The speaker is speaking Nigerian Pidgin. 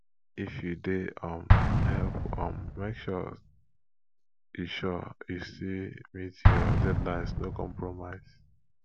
if you dey um help um make sure you sure you still meet your deadlines no compromise